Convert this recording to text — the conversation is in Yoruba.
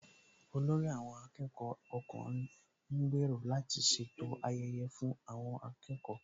Olórí àwọn akẹ́kọ̀ọ́ ọkùnrin ń gbèrò láti ṣètò ayẹyẹ fún àwọn akẹ́kọ̀ọ́